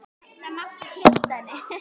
Það mátti treysta henni.